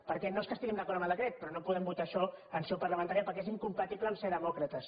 perquè no és que estiguem d’acord amb el decret però no podem votar això en seu parlamentària perquè és incompatible amb ser demòcrates